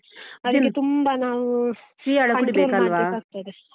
ಅದಕ್ಕೆ ತುಂಬಾ ನಾವು .